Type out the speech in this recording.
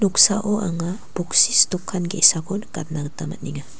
noksao anga boksis dokan ge·sako nikatna gita man·enga.